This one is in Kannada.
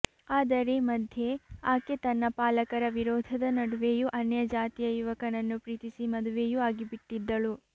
ಅದರ ಮಧ್ಯೆ ಆಕೆ ತನ್ನ ಪಾಲಕರ ವಿರೋಧದ ನಡುವೆಯೂ ಅನ್ಯಜಾತಿಯ ಯುವಕನನ್ನು ಪ್ರೀತಿಸಿ ಮದುವೆಯೂ ಆಗಿಬಿಟ್ಟಿದ್ದಳು